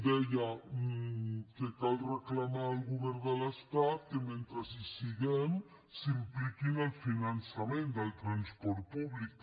deia que cal reclamar al govern de l’estat que mentre hi siguem s’impliqui en el finançament del transport públic